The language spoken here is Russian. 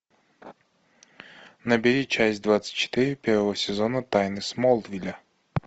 набери часть двадцать четыре первого сезона тайны смолвиля